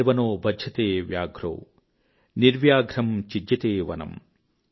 నిర్వనో బధ్యతే వ్యాఘ్రో నిర్వ్యాఘ్రం ఛిద్యతే వనమ్